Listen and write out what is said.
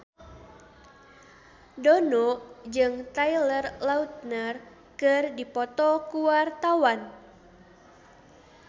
Dono jeung Taylor Lautner keur dipoto ku wartawan